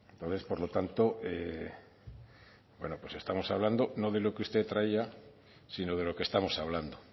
lo es por lo tanto bueno pues estamos hablando no de lo que usted traía sino de lo que estamos hablando